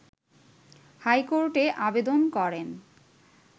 হাইকোর্টে আবেদন করেন